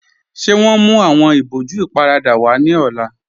Ṣé wọn mú awọn ibòjú íparádà wa ni ọ̀lá?